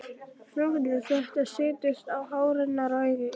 Frjókorn þess setjast á hár hennar og í augun.